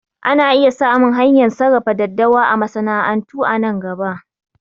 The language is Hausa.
Ana iya samun hanyar sarrafa daddawa a masana'antu a nan gaba